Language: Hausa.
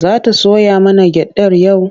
Za ta soya mana gyaɗar yau?